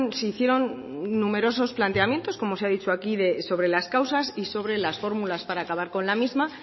se hicieron numerosos planteamientos como se ha dicho aquí sobre las causas y sobre las fórmulas para acabar con la misma